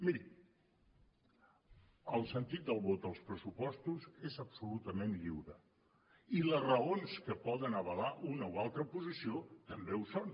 miri el sentit del vot als pressupostos és absolutament lliure i les raons que poden avalar una o altra posició també ho són